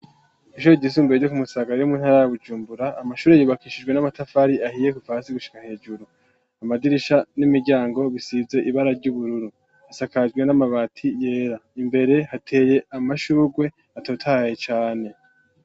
Ishure ryisumbure ryo ku Musaga riri mu ntara ya Bujumbura, amashure yubakishijwe n'amatafari ahiye kuva hasi gushika hejuru, amadirisha n'imiryango bisize ibara ry'ubururu, hasakajwe n'amabati yera, imbere hateye amashurwe atotahaye cane.